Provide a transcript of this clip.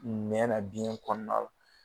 Ɲɛ na biyɛn kɔɔna la